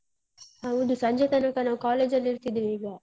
ಹೌದು, ಸಂಜೆ ತನಕ ನಾವು college ಅಲ್ಲಿ ಇರ್ತಿದೀವೀಗ.